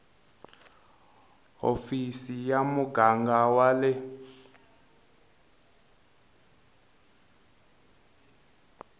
hofisi ya muganga wa le